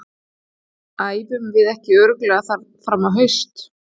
Æfum við ekki örugglega þar fram á haust?